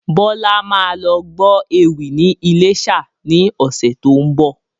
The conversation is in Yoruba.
Bọlá máa lọ gbọ́ ewì ni ilésà ni ọ̀sẹ̀ tó ń bọ̀